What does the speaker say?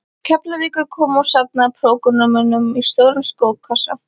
Keflavíkur komu og safnaði prógrömmunum í stóran skókassa.